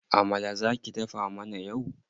Amala za ki dafa mana yau.